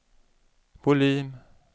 volym